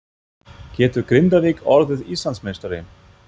Getur Grindavík orðið Íslandsmeistari?